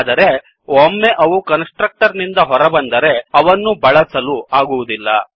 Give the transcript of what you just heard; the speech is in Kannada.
ಆದರೆ ಒಮ್ಮೆ ಅವು ಕನ್ಸ್ ಟ್ರಕ್ಟರ್ ನಿಂದ ಹೊರಬಂದರೆ ಅವನ್ನು ಬಳಸಲು ಆಗುವದಿಲ್ಲ